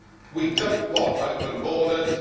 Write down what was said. we do not want open borders.